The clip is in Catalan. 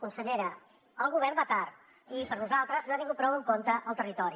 consellera el govern va tard i per nosaltres no ha tingut prou en compte el territori